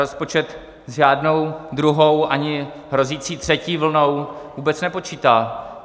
Rozpočet s žádnou druhou ani hrozící třetí vlnou vůbec nepočítá.